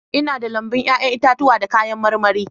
Ina da lambun 'ya'yan itatuwa da kayan marmari